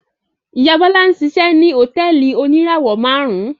Ìyá Bọ́lá ń ṣiṣẹ́ ní hòtẹ́ẹ́lì oníràwọ̀-márùn-ún.